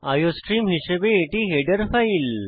iostream হিসাবে এটি header file